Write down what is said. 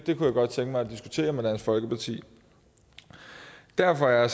jeg godt tænke mig at diskutere med dansk folkeparti derfor er